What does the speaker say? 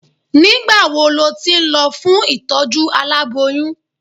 Nígbà wo lo ti ń lọ fún ìtọ́jú aláboyun?